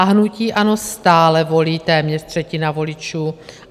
A hnutí ANO stále volí téměř třetina voličů.